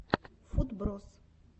футброз